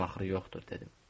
Bunun axırı yoxdur, dedim.